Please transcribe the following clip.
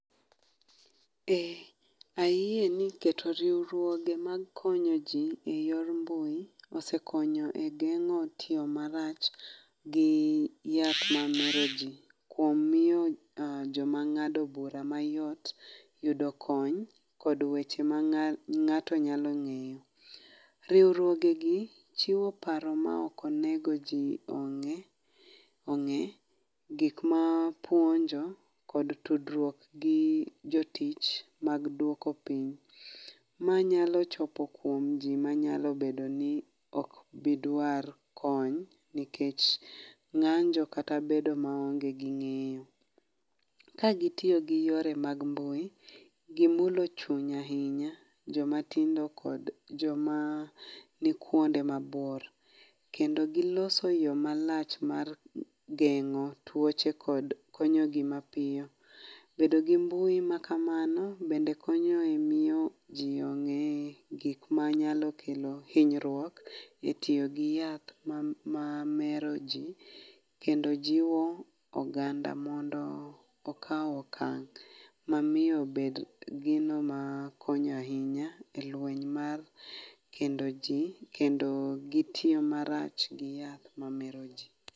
Ee ayie ni keto riurwoge mar konyo ji e yor mbui ssekonyo e genyo tiyo marach gi yath mamero ji kuom miyo joma ng’ado bura mayot yudo kony kod weche ma ngato nyalo ngeyo. Riurwoge gi chiwo paro maok onego ji ong’e ong’e gik ma puonjo kod tudruok gi jotich mag duoko piny manyalo chopo kuom ji manyalo bed oni okbiduar kony nikech ng’anjo kata bedo maonge gi ng’eyo. Ka gitiyo gi yore mag mbui, gimulo chuny ahinya joma tindo kod joma ni kuonde mabor, kendo gilose yo malach mar geng’o tuoche kod konyo ji mapiyo. Bedo gi mbui ma kamano bende konyo e miyo ji ong’ gik manyalo kelo hinyruok e tiyo gi yath ma mero ji kendo jiwo oganda mondo okao okang ma miyo obed gino ma konyo ahinya e lweny mar kendo ji kendo gitiyo marach gi yath mamero ji.